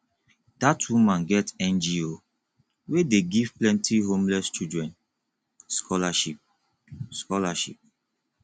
dat woman get ngo wey dey give plenty homeless children scholarship scholarship